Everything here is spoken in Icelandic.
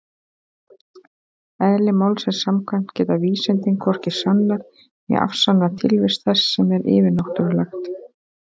Eðli málsins samkvæmt geta vísindin hvorki sannað né afsannað tilvist þess sem er yfirnáttúrulegt.